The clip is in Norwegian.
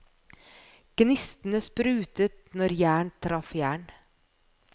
Gnistene sprutet når jern traff jern.